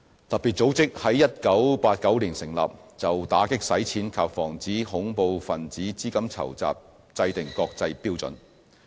特別組織在1989年成立，就打擊洗錢及防止恐怖分子資金籌集制訂國際標準。